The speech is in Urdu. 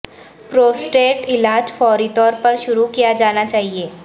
پروسٹیٹ علاج فوری طور پر شروع کیا جانا چاہئے